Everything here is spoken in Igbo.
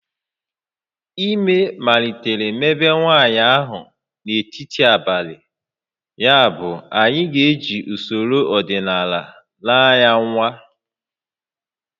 Ime malitere mebe nwaanyị ahụ n'etiti abalị, yabụ anyị ga-eji usoro ọdịnala naa ya nwa